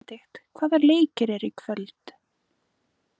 Benidikt, hvaða leikir eru í kvöld?